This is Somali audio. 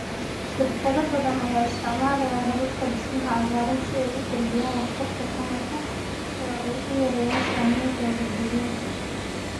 Shirkado badan ayaa isticmaalaya hababka dhismaha cagaaran si ay u kordhiyaan waxtarka tamarta oo ay u yareeyaan saameyntooda deegaanka.